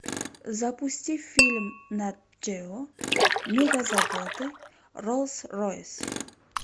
запусти фильм нат гео мегазаводы роллс ройс